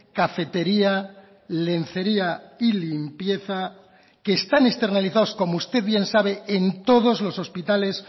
cafetería lencería y limpieza que están externalizados como usted bien sabe en todos los hospitales